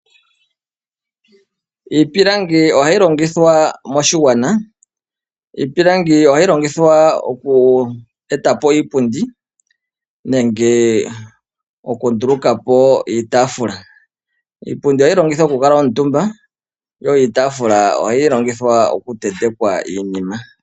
Iipilangi ohayi longithwa moshigwana. Iipilangi ohayi longithwa oku etapo iipundi, nenge oku ndulukapo iitaafula. Iipundi ohayi longithwa oku kuuntumba, yo iitafula ohayi longithwa oku tentekwa iinima.